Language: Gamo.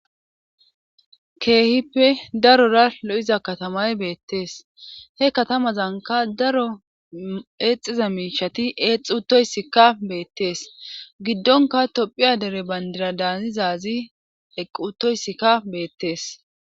keehippe darora lo7iza katamay beettees he katamazanka daro eexiza miishati eexutoyssikka beettees giddonka tophiya dere bandira daanizazi eqqutoyssikka beettees